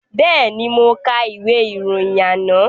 Bẹ́ẹ̀ni, mo ka ìwé ìròyìn àná